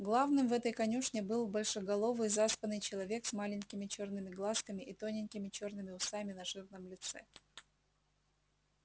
главным в этой конюшне был большеголовый заспанный человек с маленькими чёрными глазками и тоненькими чёрными усами на жирном лице